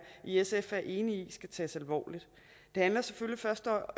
i sf er enige i skal tages alvorligt det handler selvfølgelig først og